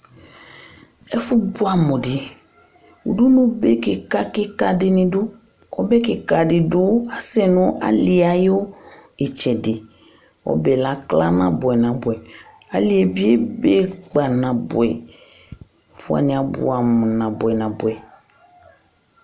Ɛfʋ bʋɛ amu di ! Ʋdʋnu kìka kìka dìní du Ɔbɛ kìka di du asɛ nʋ alì yɛ ayʋ itsɛdi Ɔbɛ yɛ lakla nabʋɛ nabʋɛ ! Alí yɛ bi ebe kpa nabʋɛ ! Ɛfʋ wani abʋɛ amu nabʋɛ nabʋɛ !